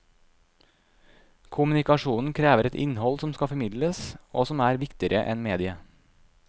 Kommunikasjonen krever et innhold som skal formidles, og som er viktigere enn mediet.